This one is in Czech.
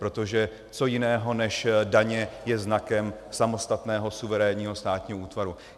Protože co jiného než daně je znakem samostatného suverénního státního útvaru?